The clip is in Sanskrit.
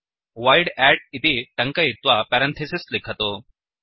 वोइड् अद्द् इति टङ्कयित्वा पेरन्थिसिस् लिखतु